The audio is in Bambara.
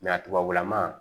a tubabulama